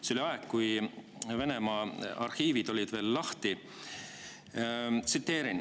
See oli aeg, kui Venemaa arhiivid olid veel lahti.